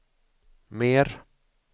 mer